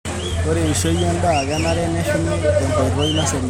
Ore eishoi endaa kenare neshumi tenkoitoi naserian.